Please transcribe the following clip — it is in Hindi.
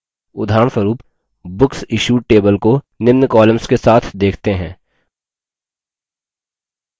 उदाहरणस्वरुप booksissued table को निम्न columns के साथ देखते हैं